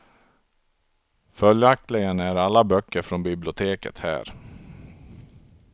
Följaktligen är alla böckerna från biblioteket här.